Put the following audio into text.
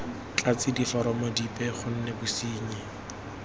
tlatse diforomo dipe gonne bosenyi